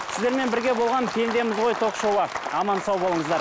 сіздермен бірге болған пендеміз ғой ток шоуы аман сау болыңыздар